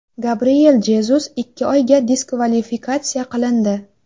Gabriel Jezus ikki oyga diskvalifikatsiya qilindi.